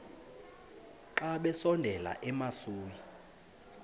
xa besondela emasuie